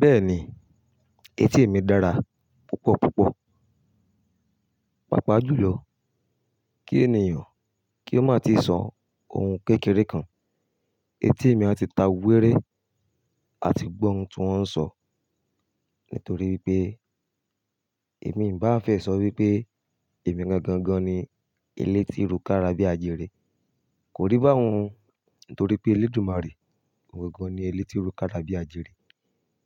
Bẹ́ẹ̀ni, etí mi dára púpọ̀ púpọ̀. Paapaa jùlọ kí ènìyàn kí ó má tíì sọ ohun kékeré kan, etí mi a tí ta wéré, a ti gbọ́ ohun tí wọ́n ń sọ. Nítorí wipé èmi bà á fẹ́ sọ wípé èmi gangan gan ni elétí rù kára bí àjẹrẹ. Kò rí bá hun nítorí pé elédùmarè, òun gan ni elétí rù kára bí àjẹrẹ.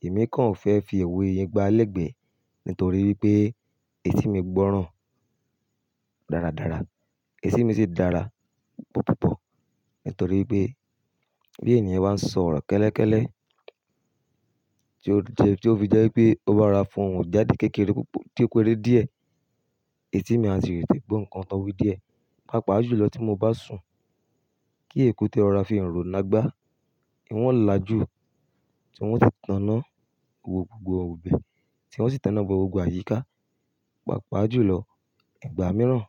Èmi kan fẹ́ fi òwe yẹn gbálẹ̀gbẹ́ nítorí pé etí mi gbọ́ràn dáradára. Etí mi sì dára púpọ̀púpọ̀ nítorí wipé bí ènìyàn bá ń sọ ọ̀rọ̀ kẹ́lẹ́kẹ́lẹ́ tí ó fi jẹ́ wipé ó bá rara fọ oun jáde kékeré púpọ̀ tí ó kere díẹ̀, etí mi a sì rè tẹ̀ gbọ́ nǹkan tán wí díẹ̀. Paapaa jùlọ tí mo bá sùn kí èkúté rọ̀rá fi iranro la gbá, ìwọ̀n o là jù tí wọ́n si tan iná wò gbogbo ọ̀bẹ tí wọ́n sì tọ náa wò gbogbo àyíká. Paapaa jùlọ ìgbà mìíràn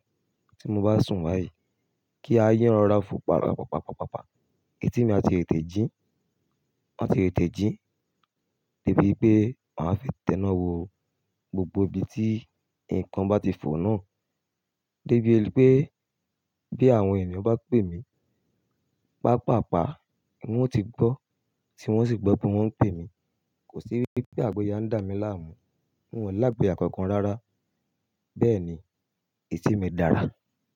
tí mo bá sùn bayii kí aáyán rọ̀rá fò paapaapapapa, etí mi a tì tè tẹ̀ jí, a tì tè tẹ̀ jí dé bí pé màá fi tẹ́ná wò gbogbo ibi tí nǹkan bá ti fò nù. Dé bí ẹni pé bí àwọn ènìyàn bá pè mí, pàápàápàá nì hun o ti gbọ́ tí hun o sì gbọ́ pé wọ́n ń pè mí. Kò sí wípé àgboyà ń dà mí láàmú, hun o lá àgboya kàn kan rárá. Bẹ́ẹ̀ni, etí mi dára.